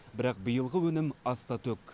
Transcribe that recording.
бірақ биылғы өнім аста төк